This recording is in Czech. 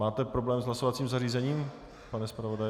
Máte problém s hlasovacím zařízením, pane zpravodaji?